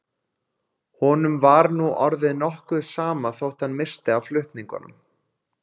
Honum var nú orðið nokkuð sama þótt hann missti af flutningunum.